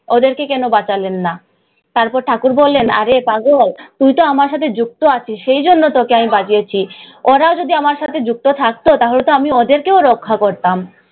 ওদেরকে কেন বাঁচালেন না? তারপর ঠাকুর বললেন, আরে পাগল, তুই তো আমার সাথে যুক্ত আছিস, সেই জন্যে তোকে আমি বাঁচিয়েছি। ওরাও যদি আমার সাথে যুক্ত থাকতো, তাহলে তো আমি ওদেরকেও রক্ষা করতাম।